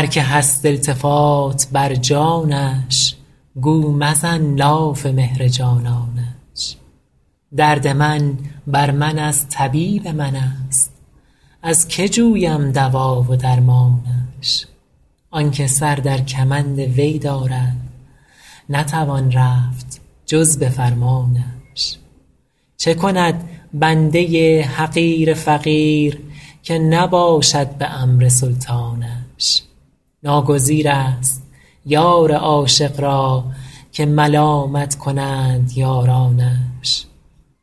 هر که هست التفات بر جانش گو مزن لاف مهر جانانش درد من بر من از طبیب من است از که جویم دوا و درمانش آن که سر در کمند وی دارد نتوان رفت جز به فرمانش چه کند بنده حقیر فقیر که نباشد به امر سلطانش ناگزیر است یار عاشق را که ملامت کنند یارانش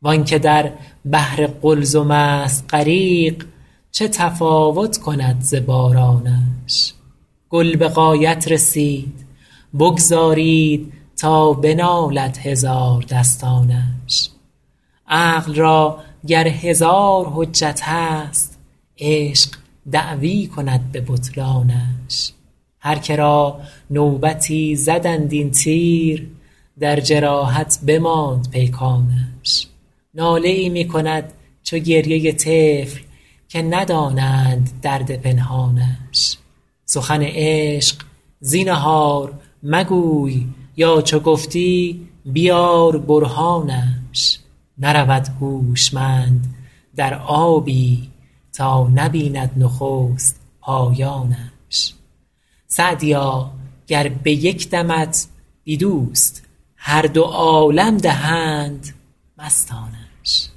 وآن که در بحر قلزم است غریق چه تفاوت کند ز بارانش گل به غایت رسید بگذارید تا بنالد هزاردستانش عقل را گر هزار حجت هست عشق دعوی کند به بطلانش هر که را نوبتی زدند این تیر در جراحت بماند پیکانش ناله ای می کند چو گریه طفل که ندانند درد پنهانش سخن عشق زینهار مگوی یا چو گفتی بیار برهانش نرود هوشمند در آبی تا نبیند نخست پایانش سعدیا گر به یک دمت بی دوست هر دو عالم دهند مستانش